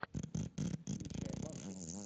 включай мангу